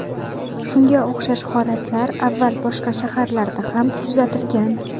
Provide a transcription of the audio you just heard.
Shunga o‘xshash holatlar avval boshqa shaharlarda ham kuzatilgan.